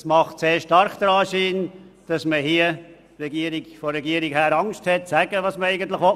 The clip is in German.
Es macht stark den Anschein, als hätte die Regierung Angst mitzuteilen, was vorgesehen ist.